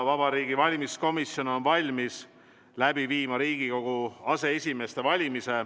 Vabariigi Valimiskomisjon on valmis läbi viima Riigikogu aseesimeeste valimise.